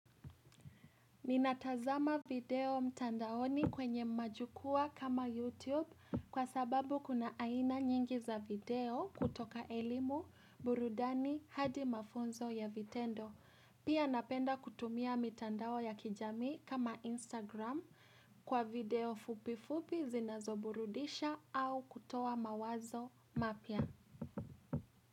Ninatazama video mtandaoni kwenye majukwaa kama YouTube kwa sababu kuna aina nyingi za video kutoka elimu burudani hadi mafunzo ya vitendo. Pia napenda kutumia mitandao ya kijami kama Instagram kwa video fupi fupi zinazoburudisha au kutoa mawazo mapya.